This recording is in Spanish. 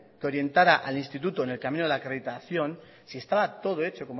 que orientara al instituto en el camino de la acreditación si estaba todo hecho